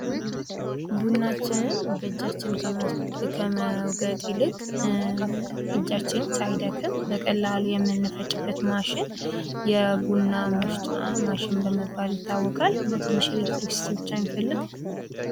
ቡናችንን በእጃችን ከመውቀጥ ይልቅ እጃችን ሳይደክም በቀላሉ የምንፈጭበት ማሽን የቡና መፍጫ ማሽን በመባል ይታወቃል ።እና ትንሽ ኤሌትሪክሲቲ ብቻ ነው ሚፈልግ ።